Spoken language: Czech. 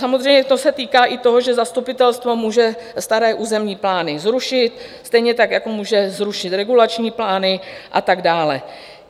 Samozřejmě to se týká i toho, že zastupitelstvo může staré územní plány zrušit, stejně tak jako může zrušit regulační plány a tak dále.